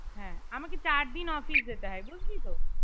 হ্যাঁ আমাকে চার দিন office যেতে হয় বুঝলি তো